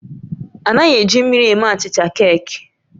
A naghị eji mmiri eme achịcha keeki